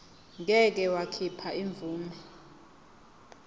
ngeke wakhipha imvume